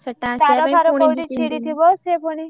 ତାର ଫାର ପୁଣି କୋଉଠି ଛିଡ଼ିଥିବ ସିଏ ପୁଣି।